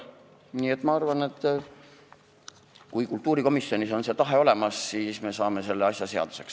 Nii et ma arvan, et kui kultuurikomisjonis on see tahe olemas, siis me saame selle asja seaduseks.